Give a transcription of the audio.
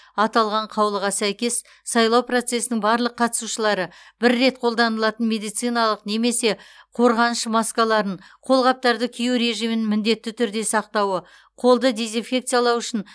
аталған қаулыға сәйкес сайлау процесінің барлық қатысушылары бір рет қолданылатын медициналық немесе қорғаныш маскаларын қолғаптарды кию режимін міндетті түрде сақтауы қолды дезинфекциялау үшін